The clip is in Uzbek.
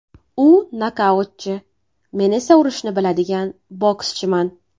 U nokautchi, men esa urishni biladigan bokschiman.